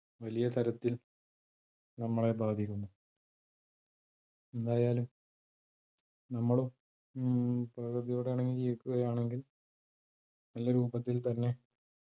വലിയ തരത്തിൽ നമ്മളെ ബാധിക്കുന്നു എന്തായാലും നമ്മളും മ് പ്രകൃതിയോട് ഇണങ്ങി ജീവിക്കുകയാണെങ്കിൽ നല്ല രൂപത്തിൽ തന്നെ